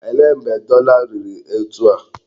Olee mgbe dọla a riri etu a?